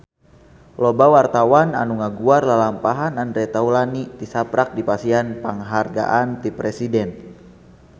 Loba wartawan anu ngaguar lalampahan Andre Taulany tisaprak dipasihan panghargaan ti Presiden